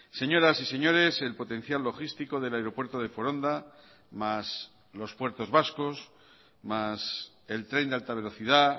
señoras y señores el potencial logístico del aeropuerto de foronda más los puertos vascos más el tren de alta velocidad